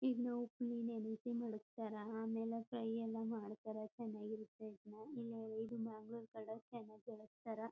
ಇದ್ನ ಉಪ್ಪಿನ್ ನೆನ್ಸಿ ಮಾಡ್ಕತಾರ ಆಮೇಲೆ ಫ್ರೈ ಎಲ್ಲ ಮಾಡ್ತಾರಾ ಚನ್ನಾಗ್ ಇರುತ್ತೆ. ಇದ್ನ ಇದು ಮ್ಯಾಂಗಲೋರ್ ಕಡೆ ಚನ್ನಾಗ್ ಬೆಳಸ್ತರ.